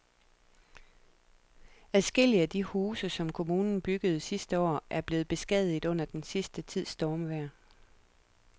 Adskillige af de huse, som kommunen byggede sidste år, er blevet beskadiget under den sidste tids stormvejr.